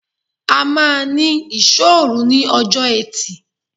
A máa ní Ìṣọ́òru ní ọjọ́ Ẹtì.